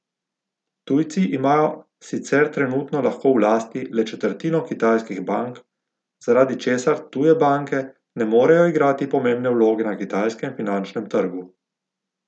Tujci imajo sicer trenutno lahko v lasti le četrtino kitajskih bank, zaradi česar tuje banke ne morejo igrati pomembne vloge na kitajskem finančnem trgu.